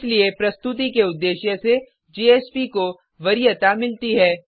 इसलिए प्रस्तुति के उद्देश्य से जेएसपी को वरीयता मिलती है